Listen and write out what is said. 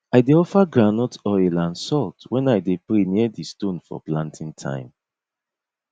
i dey offer groundnut oil and salt when i dey pray near di stone for planting time